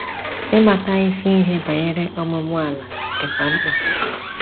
Ị mata isi ihe banyere ọmúmú-àlà dịkwa mkpa.